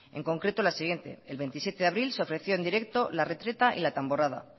en concreto la siguiente el veintisiete de abril se ofreció en directo la retreta y la tamborrada